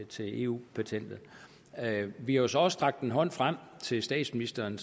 til eu patentet vi har så også strakt en hånd frem til statsministeren